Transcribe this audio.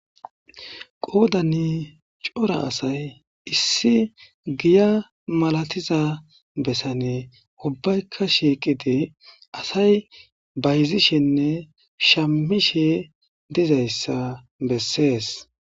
Qoodani cora asay issi giya malatiza besani ubbayka shiiqidi asay bayzishenne shammishe dizayssa besees.